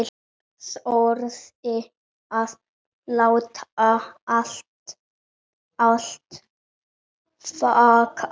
Þorði að láta allt flakka.